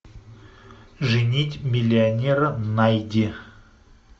женить миллионера найди